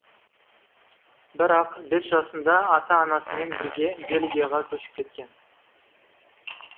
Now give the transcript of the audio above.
бірақ бес жасында ата анасымен бірге бельгияға көшіп кеткен